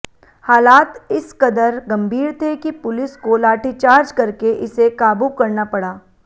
हालात इसकदर गंभीर थे कि पुलिस को लाठीचार्ज करके इसे काबू करना पड़ा